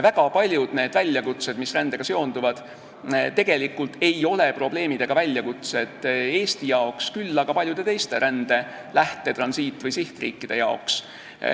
Väga paljud väljakutsed, mis rändega seonduvad, tegelikult ei ole probleem Eesti jaoks, küll aga on nad probleemiks paljude teiste rände lähte-, transiit- või sihtriikide jaoks.